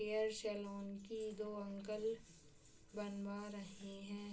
Hair salon की दो uncle बनवा रहे हैं।